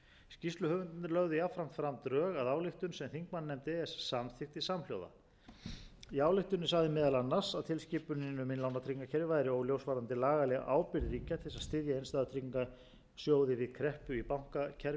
að ályktun sem þingmannanefnd e e s samþykkti samhljóða í ályktuninni sagði meðal annars að tilskipunin um innlánatryggingakerfi væri óljós varðandi lagalega ábyrgð ríkja til þess að styðja innstæðutryggingarsjóði við kreppu í bankakerfi eða algjört